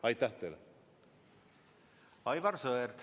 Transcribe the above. Aivar Sõerd, palun!